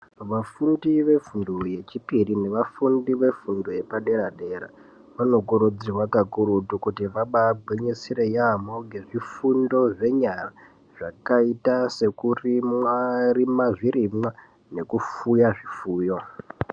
Vafundi vefundo yechipiri neva fundi vefundo yepa dera dera vanoba kurudzirwa kakurutu kuti vaba gwinyisira yamho ngezvifundo zvenyara zvakaita sekurima zvirimwa nekufuya zvifuyo.